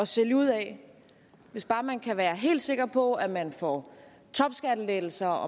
sælge ud af hvis bare man kan være helt sikker på at man får topskattelettelser